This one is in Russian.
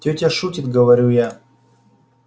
тётя шутит говорю я